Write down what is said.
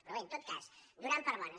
però bé en tot cas donant per bones